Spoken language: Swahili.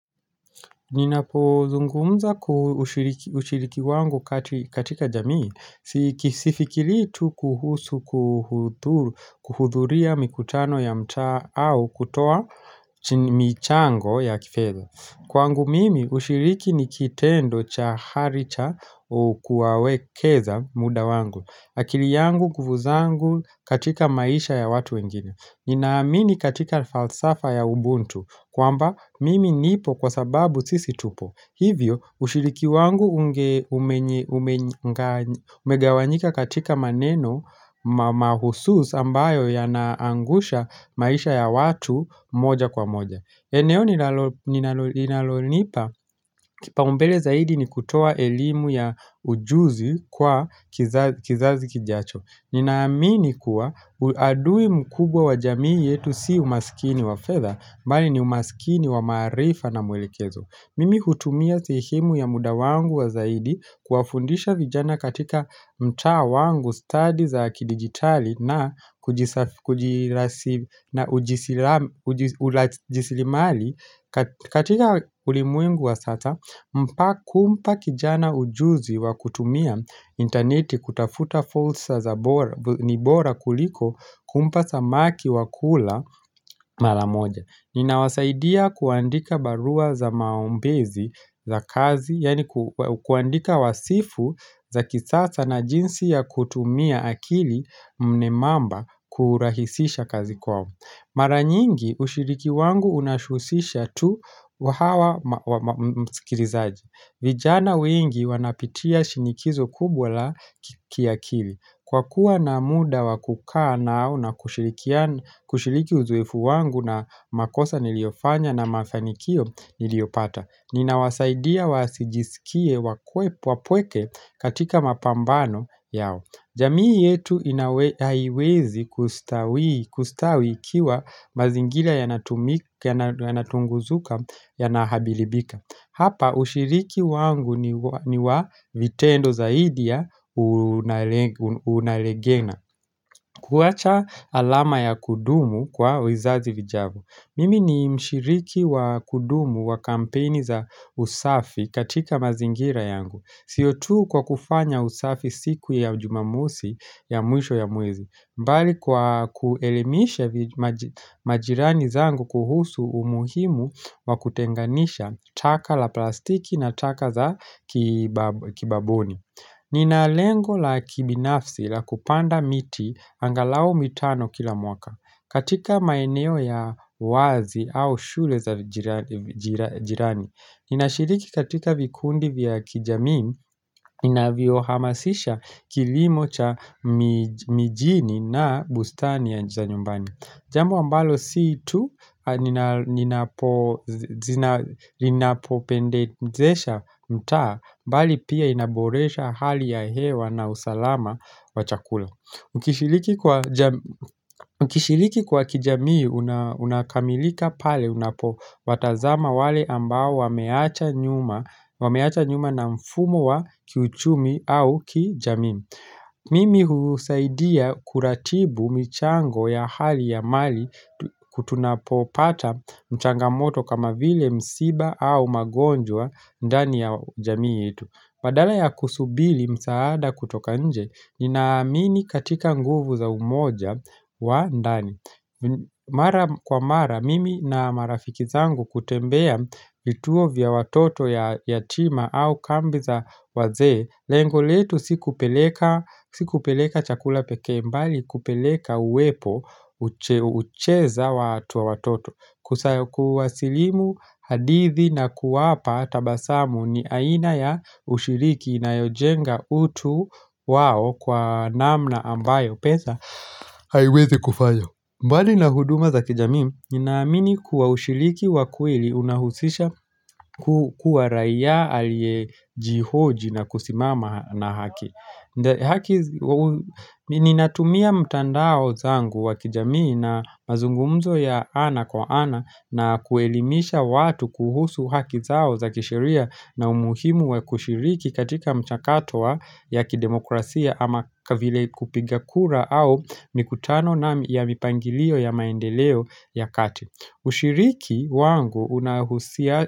Ninapozungumza ushiriki wangu katika jamii. Sifikiri tu kuhusu kuhudhuria mikutano ya mtaa au kutoa michango ya kifeza. Kwangu mimi ushiriki ni kitendo cha hari cha kuwawekeza muda wangu. Akili yangu kuvu zangu katika maisha ya watu wengine. Ninaamini katika falsafa ya ubuntu kwamba mimi nipo kwa sababu sisi tupo. Hivyo ushiriki wangu umegawanyika katika maneno mahusus ambayo yanaangusha maisha ya watu moja kwa moja. Eneo linalonipa kipaumbele zaidi ni kutoa elimu ya ujuzi kwa kizazi kijacho Ninaamini kuwa adui mkubwa wa jamii yetu si umasikini wa fedha bali ni umasikini wa maarifa na mwelekezo Mimi hutumia sehemu ya muda wangu wa zaidi kuwafundisha vijana katika mtaa wangu stadi za kidigitali na urajisilimali katika ulimwengu wa sata kumpa kijana ujuzi wa kutumia intaneti kutafuta fulsa ni bora kuliko kumpa samaki wa kula mala moja Ninawasaidia kuandika barua za maombezi za kazi, yani kuandika wasifu za kisasa na jinsi ya kutumia akili mnemamba kurahisisha kazi kwao. Mara nyingi ushiriki wangu unashusisha tu wa hawa mskirizaji. Vijana wengi wanapitia shinikizo kubwa la kiakili. Kwa kuwa na muda wa kukaa nao na kushiriki uzoefu wangu na makosa niliofanya na mafanikio niliopata. Ninawasaidia wasijisikie wapweke katika mapambano yao jamii yetu haiwezi kustawi ikiwa mazingira yanatunguzuka yanahabilibika Hapa ushiriki wangu ni wa vitendo zaidi ya unaregena kuwacha alama ya kudumu kwa wizazi vijao Mimi ni mshiriki wa kudumu wa kampeni za usafi katika mazingira yangu siyo tu kwa kufanya usafi siku ya jumamosi ya mwisho ya mwezi mbali kwa kuelemisha majirani zangu kuhusu umuhimu wa kutenganisha taka la plastiki na taka za kibaboni Nina lengo la kibinafsi la kupanda miti angalau mitano kila mwaka katika maeneo ya wazi au shule za jirani, ninashiriki katika vikundi vya kijamii, inavyohamasisha kilimo cha mijini na bustani ya nje ya nyumbani. Jambo ambalo si tu, inapopendezesha mtaa, bali pia inaboresha hali ya hewa na usalama wa chakula. Ukishiliki kwa kijamii unakamilika pale unapowatazama wale ambao wameacha nyuma na mfumo wa kiuchumi au kijamii Mimi husaidia kuratibu michango ya hali ya mali tunapopata mchangamoto kama vile msiba au magonjwa ndani ya jamii yetu Badala ya kusubili msaada kutoka nje, ninaamini katika nguvu za umoja wa ndani Mara kwa mara, mimi na marafiki zangu hutembea vituo vya watoto yatima au kambi za wazee Lengo letu si kupeleka chakula pekee mbali, kupeleka uwepo ucheza watu wa watoto kuwasilimu hadithi na kuwapa tabasamu ni aina ya ushiriki inayojenga utu wao kwa namna ambayo pesa haiwezi kufanya mbali na huduma za kijamii Ninaamini kuwa ushiriki wa kweli unahusisha kuwa raia aliyejihoji na kusimama na haki Ninatumia mtandao zangu wa kijamii na mazungumzo ya ana kwa ana na kuelimisha watu kuhusu haki zao za kisheria na umuhimu wa kushiriki katika mchakato wa ya kidemokrasia ama vile kupiga kura au mikutano na ya mipangilio ya maendeleo ya kati Ushiriki wangu unahusia.